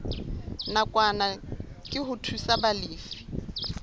nakwana ke ho thusa balefi